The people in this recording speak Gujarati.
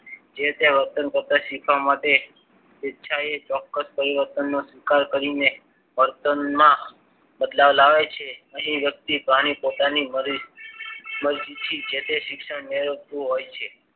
જે તે વર્તન કરતા શીખવા માટે ઈચ્છાએ ચોક્કસ પરિવર્તનનો સ્વીકાર કરીને વર્તનમાં બદલાવ લાવે છે. અને એ વ્યક્તિ પ્રાણી પોતાની મરજીથી જે તે શિક્ષણ મેળવતું હોય છે.